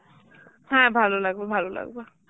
হ্যাঁ ভালো লাগবে ভালো লাগবে